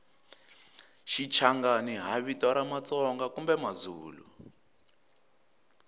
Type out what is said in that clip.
shichangani hhavito ramatsonga kambemazulu